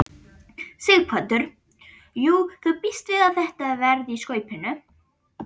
Sighvatur: Já þú bíst við að þetta verði í skaupinu?